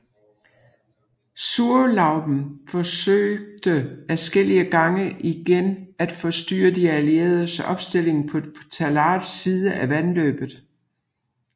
Zurlauben forsøgte adskillige gange igen at forstyrre de allieredes opstilling på Tallards side af vandløbet